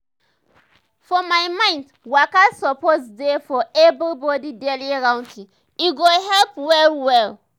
for my mind waka suppose dey for everybody daily routine e go help well well.